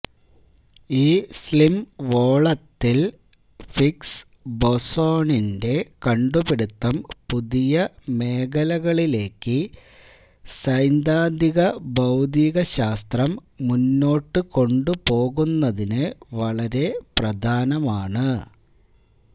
ഈ സ്ലിം വോളത്തിൽ ഹിഗ്സ് ബോസോണിന്റെ കണ്ടുപിടിത്തം പുതിയ മേഖലകളിലേക്ക് സൈദ്ധാന്തിക ഭൌതികശാസ്ത്രം മുന്നോട്ടുകൊണ്ടുപോകുന്നതിന് വളരെ പ്രധാനമാണ്